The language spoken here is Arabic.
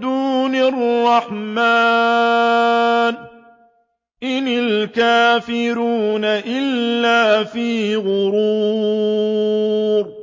دُونِ الرَّحْمَٰنِ ۚ إِنِ الْكَافِرُونَ إِلَّا فِي غُرُورٍ